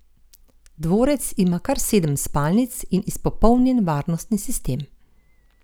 Dvorec ima kar sedem spalnic in izpopolnjen varnostni sistem.